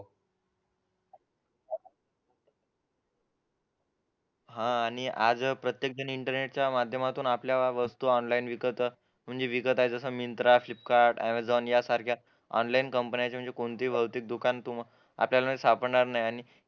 हा आणि अगं प्रत्येकजण इंटरनेटच्या माध्यमातून आपल्या वस्तू ऑनलाईन विकत विकत आहे जसं मिंत्रा फ्लिपकार्ट यासारख्या ऑनलाईन कंपन्या कोणती भौतिक दुकान आपल्याला सापडणार नाही